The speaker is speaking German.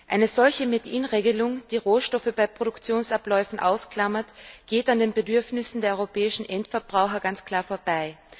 Eine solche Made in Regelung, die Rohstoffe bei Produktionsabläufen ausklammert, geht an den Bedürfnissen der europäischen Endverbraucher ganz klar vorbei.